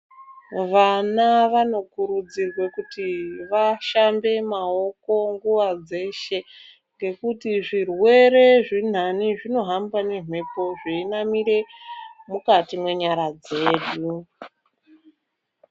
Vana vanokurudzirwa kuti vashambe maoko nguwa yeshe ngekuti zvirwere zvenhani zvinohamba pane mhepo zveinamira mukati nenyara dzedu.